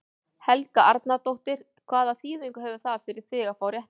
Helga Arnardóttir: Hvaða þýðingu hefur það fyrir þig að fá réttindi?